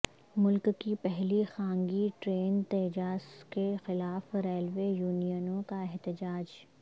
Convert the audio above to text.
ملک کی پہلی خانگی ٹرین تیجاس کے خلاف ریلوے یونینوں کا احتجاج